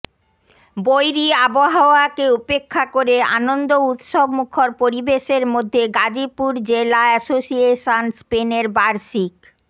বৈরি আবহাওয়াকে উপেক্ষা করে আনন্দ উৎসব মূখর পরিবেশের মধ্যে গাজীপুর জেলা অ্যাসোসিয়েশন স্পেনের বার্ষিক